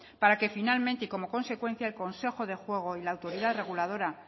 para que finalmente y como consecuencia el consejo de juego y la autoridad reguladora